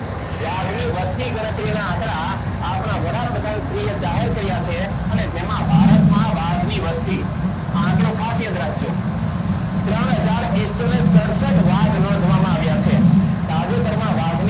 વાઘની વસ્તી ગણતરીના આંકડા આપણા વડાપ્રધાન શ્રી એ જાહેર કર્યા છે. અને જેમાં ભારતમાં વાઘની વસ્તી આંકડો ખાસ યાદ રાખજો. ત્રણ હજાર એકસો ને સડસઠ વાઘ નોંધવામાં આવ્યા છે. તાજેતરમાં વાઘની